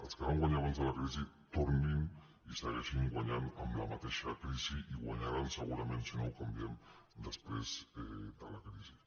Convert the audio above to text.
els que van guanyar abans de la crisi tornin i segueixin guanyant amb la mateixa crisi i guanyaran segura·ment si no ho canviem després de la crisi